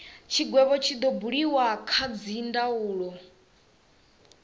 tshigwevho tshi do buliwa kha dzindaulo